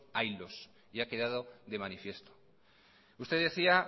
haylos y ha quedado de manifiesto usted decía